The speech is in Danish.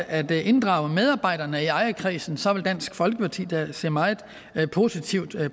at inddrage medarbejderne i ejerkredsen så vil dansk folkeparti da se meget positivt